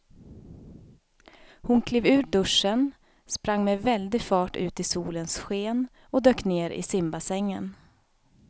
Hon klev ur duschen, sprang med väldig fart ut i solens sken och dök ner i simbassängen.